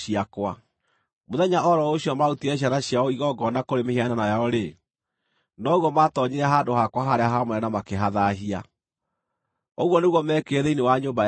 Mũthenya o ro ũcio maarutire ciana ciao igongona kũrĩ mĩhianano yao-rĩ, noguo maatoonyire handũ-hakwa-harĩa-haamũre na makĩhathaahia. Ũguo nĩguo meekire thĩinĩ wa nyũmba yakwa.